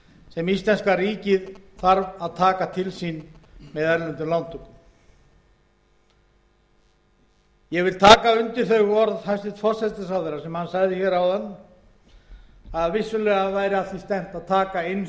sem íslenska ríkið þarf að taka til sín með erlendum lántökum ég vil taka undir orð hæstvirts forsætisráðherra að vissulega er að því stefnt að taka eins